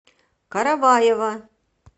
караваева